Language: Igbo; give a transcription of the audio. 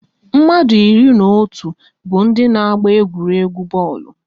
Mmadụ iri na otu bụ ndị n'agba egwuregwu bọọlụ